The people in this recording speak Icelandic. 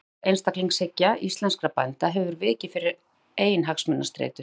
Stolt einstaklingshyggja íslenskra bænda hefur vikið fyrir eiginhagsmunastreitu.